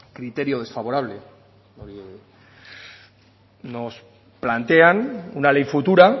criterio desfavorable nos plantean una ley futura